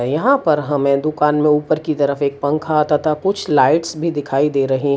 यहां पर हमें दुकान में ऊपर की तरफ एक पंखा तथा कुछ लाइट्स भी दिखाई दे रहे है।